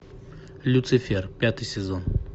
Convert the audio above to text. люцифер пятый сезон